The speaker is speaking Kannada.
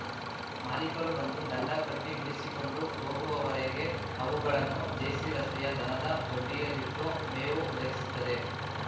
ಮಾಲಿಕರು ಬಂದು ದಂಡ ಕಟ್ಟಿಬಿಡಿಸಿಕೊಂಡು ಹೋಗುವವರೆಗೆ ಅವುಗಳನ್ನು ಜೆಸಿರಸ್ತೆಯ ದನದ ದೊಡ್ಡಿಯಲ್ಲಿಟ್ಟು ಮೇವು ಒದಗಿಸುತ್ತದೆ